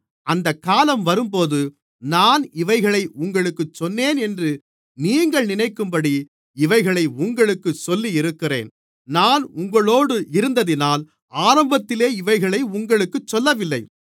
அந்தக் காலம் வரும்போது நான் இவைகளை உங்களுக்குச் சொன்னேன் என்று நீங்கள் நினைக்கும்படி இவைகளை உங்களுக்குச் சொல்லி இருக்கிறேன் நான் உங்களோடு இருந்ததினால் ஆரம்பத்திலே இவைகளை உங்களுக்குச் சொல்லவில்லை